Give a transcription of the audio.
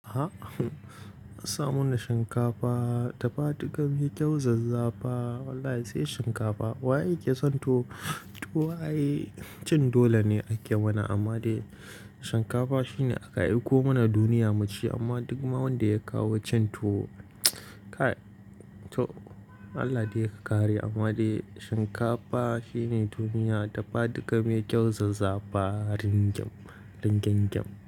A'a, humm asa mana shinkafa dafaduka mai kyau zazzafa. Wallahi sai shinkafa. Wa yake son tuwo, tuwo ai, Cin dole ne ake mana amma dai shinkafa shine aka aiko mana duniya mu ci amma duk ma wanda ya kawo cin tuwo mts, ka to Allah dai ka kare amma dai shinkafa shine duniya dafaduka mai kyau zazzafa ringim, ringimgim.